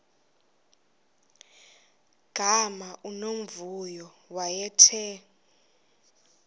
gama unomvuyo wayethe